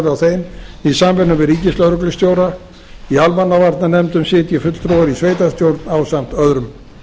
á þeim í samvinnu við ríkislögreglustjóra í almannavarnanefndum sitji fulltrúar í sveitarstjórn ásamt öðrum